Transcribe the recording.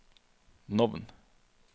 navn